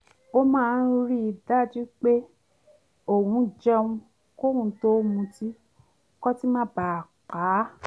ó máa ń rí i dájú pé òun jẹun kóun tó mutí kótí má ba à pa á